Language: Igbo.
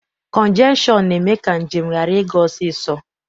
Kọnjeshọn na-eme ka njem ghara ịga ọsọsọ.